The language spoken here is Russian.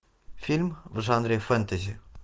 фильм в жанре фэнтези